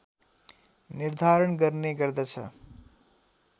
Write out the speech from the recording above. निर्धारण गर्ने गर्दछ